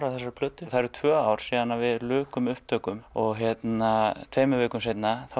að þessari plötu og það eru tvö ár síðan við lukum upptökum og tveimur vikum seinna